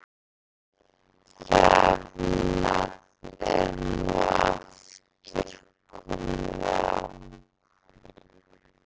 Rafmagn er nú aftur komið á